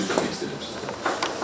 Üzr istəmək istəyirəm sizdən.